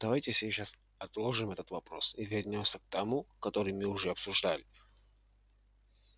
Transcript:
давайте сейчас отложим этот вопрос и вернёмся к тому который мы уже обсуждали